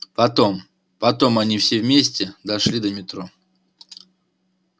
потом потом они все вместе дошли до метро